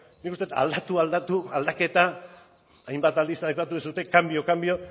nik uste dut aldatu aldatu aldaketa hainbat aldiz aipatu duzue cambio cambio